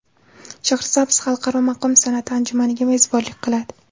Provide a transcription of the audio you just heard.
Shahrisabz Xalqaro maqom san’ati anjumaniga mezbonlik qiladi.